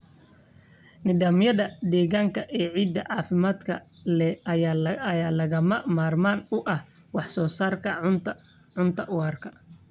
Nidaamyada deegaanka ee ciidda caafimaadka leh ayaa lagama maarmaan u ah wax soo saarka cunto waara.